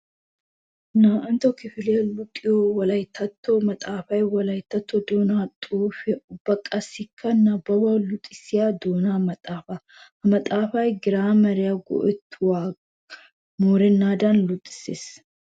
2ntto kifilaya luxiyo wolayttatto maxafay wolaytta doona xaafuwa ubba qassikka nababbuwa luxissiya doona maxafa. Ha maxafay giraameriya go'ettuwakka moorenaddan luxisees.